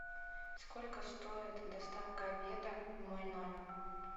сколько стоит доставка обеда в мой номер